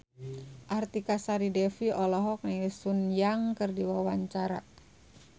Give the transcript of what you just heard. Artika Sari Devi olohok ningali Sun Yang keur diwawancara